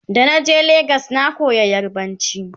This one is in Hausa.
da na je legas na koya yarbanci